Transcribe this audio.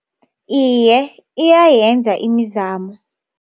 Iye, iyayenza imizamo.